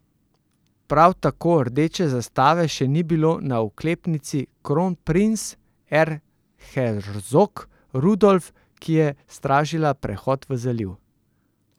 Prav tako rdeče zastave še ni bilo na oklepnici Kronprinz Erzherzog Rudolf, ki je stražila prehod v zaliv.